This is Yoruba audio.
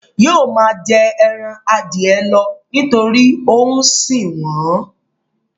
Yóò máa jẹ ẹran Adìẹ lọ nítorí ó ń sìn wọ́n